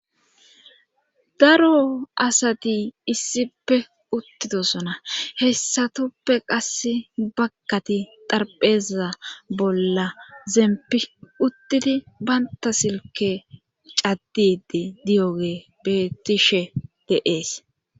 daro asati issippe uttidosona hessatoppe qasse bagkati darpheza bolla zempi uttidi baynta silke caddide diyoge beetishe deees